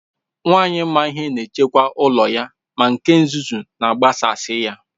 Nwanyị maa ihe na echekwa ụlọ ya, ma nke nzuzu agbasasi ya.